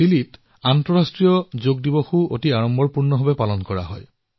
চিলিত আন্তৰ্জাতিক যোগ দিৱসো অধিক উৎসাহেৰে পালন কৰা হয়